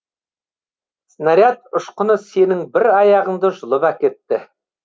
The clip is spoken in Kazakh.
снаряд ұшқыны сенің бір аяғыңды жұлып әкетті